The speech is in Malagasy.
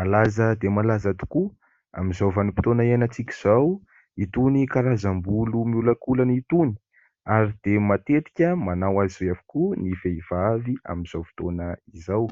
malaza dia malaza tokoa amin'izao vanim-potoana hiainantsika izao itony karazam-bolo miolakolana itony ary dia matetika manao azy io avokoa ny vehivavy amin'izao fotoana izao.